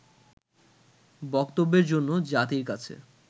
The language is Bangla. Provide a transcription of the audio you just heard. বক্তব্যের জন্য জাতির কাছে